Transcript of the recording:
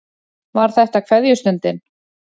Var þetta kveðjustundin?